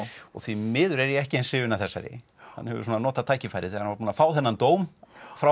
og því miður er ég ekki eins hrifinn af þessari hann hefur svona notað tækifærið þegar hann var búinn að fá þennan dóm frá